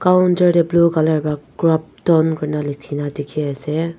colour pra crampton kurina likhina ase.